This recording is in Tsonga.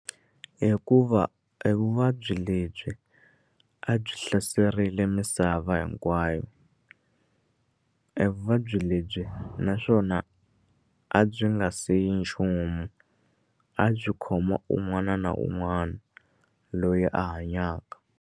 Hikuva evuvabyi lebyi a byi hlaserile misava hinkwayo evuvabyi lebyi naswona a byi nga siyi nchumu a byi khoma un'wana na un'wana loyi a hanyaka.